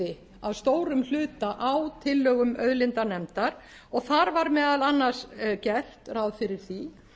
byggði að stórum hluta á tillögum auðlindanefndar og þar var meðal annars gert ráð fyrir því